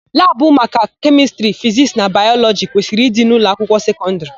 Labụ maka Kemịstrị, Fiziks na Bayọlọgi kwesịrị ịdị n'ụlọakwụkwọ sekọndịrị.